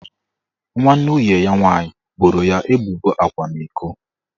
Nwanne nwunye ya nwaanyị boro ya ebubo akwamiko